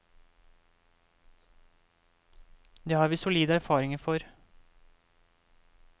Det har vi solide erfaringer for.